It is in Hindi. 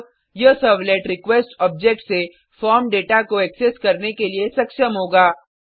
अब यह सर्वलेट रिक्वेस्ट ऑब्जेक्ट से फॉर्म दाता को एक्सेस करने के लिए सक्षम होगा